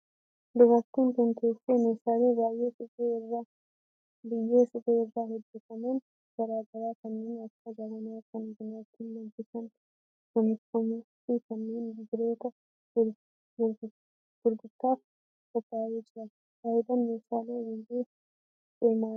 Dubartiin tun teessee meeshaalee biyyee suphee irraa hojjetaman garaa garaa kanneen akka jabanaa kan buna ittiin danfisan, sunsuma fi kanneen birootu gurgurtaaf qophaa'ee jira. Faayidaan meeshaalee biyyee suphee maali dha?